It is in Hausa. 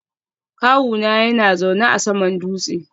Kawuna yana zaune a saman dutse